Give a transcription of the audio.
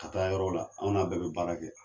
Ka taa yɔrɔ la an n'a bɛɛ be baara kɛ